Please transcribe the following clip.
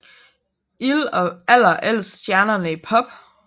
II og allerældst stjernerne i Pop